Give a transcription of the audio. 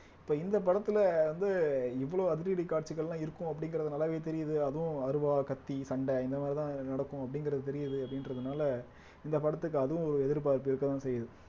இப்ப இந்த படத்துல வந்து இவ்வளவு அதிரடி காட்சிகள்லாம் இருக்கும் அப்படிங்கிறது நல்லாவே தெரியுது அதுவும் அருவா கத்தி சண்டை இந்த மாதிரி தான் நடக்கும் அப்படிங்கிறது தெரியுது அப்படின்றதுனால இந்த படத்துக்கு அதுவும் எதிர்பார்ப்பு இருக்கதான் செய்யுது